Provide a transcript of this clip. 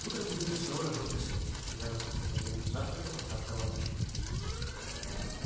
утром генри снова разжёг костёр и занялся приготовлением завтрака под храп товарища